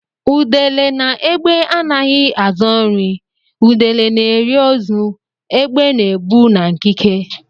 Udele na égbè anaghị azọ nri; udele na-eri ozu; égbè na-ebu na nkike.